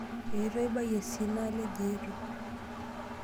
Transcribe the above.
Eeto aibayie sii naalej eeto.